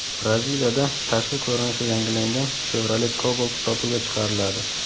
Braziliyada tashqi ko‘rinishi yangilangan Chevrolet Cobalt sotuvga chiqariladi.